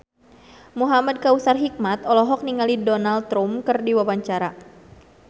Muhamad Kautsar Hikmat olohok ningali Donald Trump keur diwawancara